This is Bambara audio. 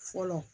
Fɔlɔ